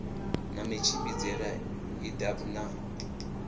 na matshimbidzele a idp na